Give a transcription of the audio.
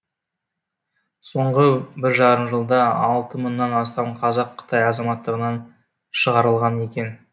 соңғы бір жарым жылда алты мыңнан астам қазақ қытай азаматтығынан шығарылған екен